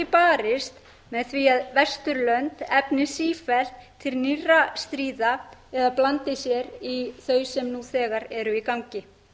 barist með því að vesturlönd efni sífellt til nýrra stríða eða blandi sér í þau sem nú þegar eru í gangi